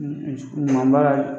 baara